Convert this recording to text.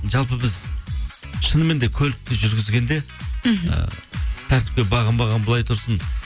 жалпы біз шынымен де көлікті жүргізгенде мхм ы тәртіпке бағынбаған былай тұрсын